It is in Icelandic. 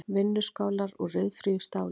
Vinnuskálar úr ryðfríu stáli.